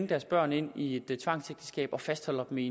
deres børn ind i et tvangsægteskab og fastholder dem i